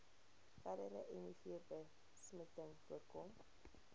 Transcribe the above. verdere mivbesmetting voorkom